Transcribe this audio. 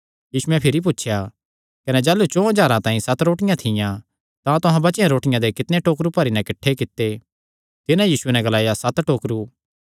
यीशुयैं भिरी पुछया कने जाह़लू चौं हज़ारां तांई सत रोटियां थियां तां तुहां बचेयो रोटियां दे कितणे टोकरु भरी नैं किठ्ठे कित्ते तिन्हां यीशुये नैं ग्लाया सत टोकरु